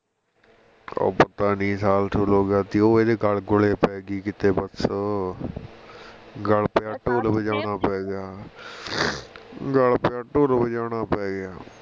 ਉਹ ਪਤਾ ਨੀ ਸਾਲ ਸੂਲ ਹੋ ਗਿਆ ਸੀ ਉਹ ਇਹਦੇ ਗੱਲ ਗੁਲ ਆ ਪੈ ਗਈ ਕੀਤੇ ਬਸ ਗੱਲ ਪਿਆ ਢੋਲ ਬਜਾਉਣਾ ਪੈ ਗਿਆ ਗੱਲ ਪਿਆ ਢੋਲ ਬਜਾਉਣਾ ਪੈ ਗਿਆ